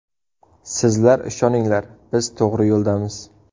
Sizlar ishoninglar, biz to‘g‘ri yo‘ldamiz.